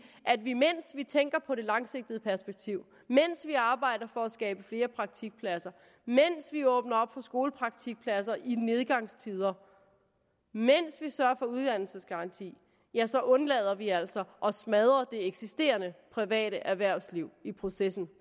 at vi mens vi tænker på det langsigtede perspektiv mens vi arbejder for at skabe flere praktikpladser mens vi åbner op for skolepraktikpladser i nedgangstider mens vi sørger for uddannelsesgarantien ja så undlader vi altså at smadre det eksisterende private erhvervsliv i processen